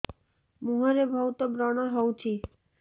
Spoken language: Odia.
ମୁଁହରେ ବହୁତ ବ୍ରଣ ହଉଛି